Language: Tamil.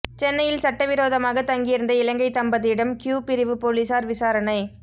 சென்னையில் சட்டவிரோதமாக தங்கியிருந்த இலங்கை தம்பதியிடம் க்யூ பிரிவு போலீஸாா் விசாரணை